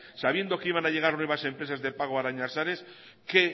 sabiendo que iban a llegar nuevas empresas de pago qué